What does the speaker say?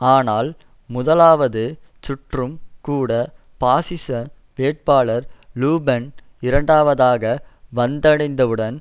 ஆனால் முதலாவது சுற்றும் கூட பாசிச வேட்பாளர் லு பென் இரண்டாவதாக வந்தடைந்ததுடன்